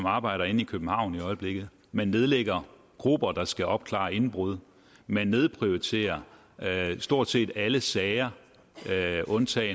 arbejder inde i københavn i øjeblikket man nedlægger grupper der skal opklare indbrud man nedprioriterer stort set alle sager sager undtaget